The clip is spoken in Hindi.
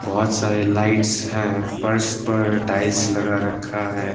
बहोत सारे लाइट्स है फर्श पर टाइल्स लगा रखा है।